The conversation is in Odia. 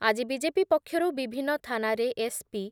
ଆଜି ବିଜେପି ପକ୍ଷରୁ ବିଭିନ୍ନ ଥାନାରେ ଏସ୍ ପି